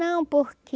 Não, porque...